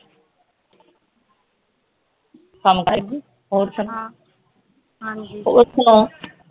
ਕੰਮ ਕਰ ਗਈ ਹੋਰ ਸੁਣਾ ਹੋਰ ਸੁਣਾ